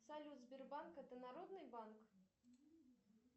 салют сбербанк это народный банк